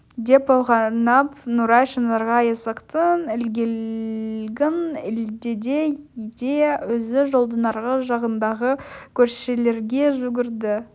деп ойлаған нұрай шынарға есіктің ілгегін ілдеді де өзі жолдың арғы жағындағы көршілерге жүгірді